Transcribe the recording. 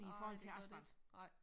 Nej det gør det ikke nej